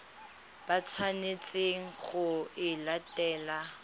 ba tshwanetseng go e latela